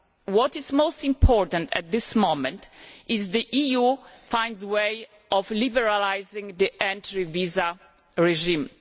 What is most important at this moment is that the EU finds a way of liberalising the entry visa regime.